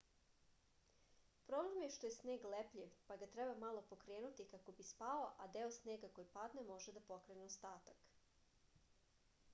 problem je što je sneg lepljiv pa ga treba malo pokrenuti kako bi spao a deo snega koji padne može da pokrene ostatak